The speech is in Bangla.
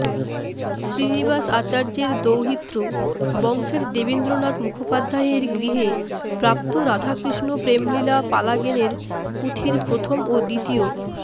শ্রীনিবাস আচার্যের দৌহিত্র বংশের দেবেন্দ্রনাথ মুখোপাধ্যায়ের গৃহে প্রাপ্ত রাধাকৃষ্ণ প্রেমলীলা পালাগেনের পুথির প্রথম ও দ্বিতীয়